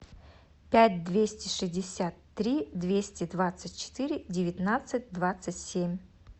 пять двести шестьдесят три двести двадцать четыре девятнадцать двадцать семь